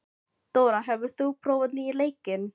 Dóra, hefur þú prófað nýja leikinn?